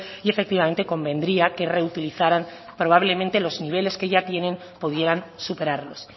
y efectivamente convendría que reutilizaran probablemente los niveles que ya tienen pudieran superarlos